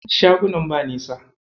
Shagunan ba nisa.